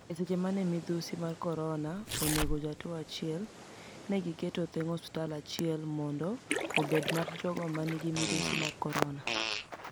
E seche mani e midusi mar koronia oni ego jatuo achiel ,ni e gi keto thenig osuptal achiel monido obed mar jogo maniigi midusi mar koronia.